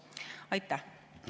Aitäh!